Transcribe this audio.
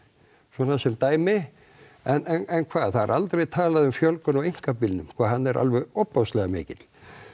svona sem dæmi en hvað það er aldrei talað um fjölgun á einkabílnum sko hann er alveg ofboðslega mikill